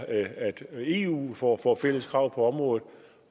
at eu får fælles krav på området